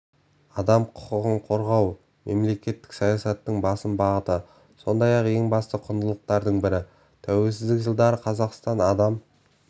адам құқығын қорғау мемлекеттік саясаттың басым бағыты сондай-ақ ең басты құндылықтардың бірі тәуелсіздік жылдарында қазақстан адам